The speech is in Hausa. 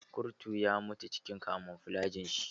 Kurtun ya mutu cikin kamuflajin shi.